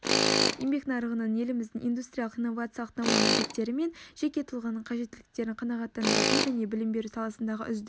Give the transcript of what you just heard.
еңбек нарығының еліміздің индустриялық-инновациялық даму міндеттері мен жеке тұлғаның қажеттіліктерін қанағаттандыратын және білім беру саласындағы үздік